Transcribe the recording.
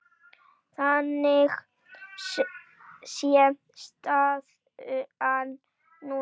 Þannig sé staðan núna.